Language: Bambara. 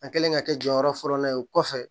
A kɛlen ka kɛ jɔyɔrɔ fɔlɔ ye o kɔfɛ